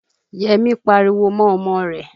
Yẹ́mi pariwo mọ́ ọmọ rẹ̀.